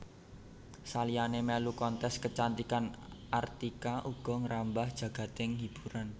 Saliyané mèlu kontes kecantikan Artika uga ngrambah jagading hiburan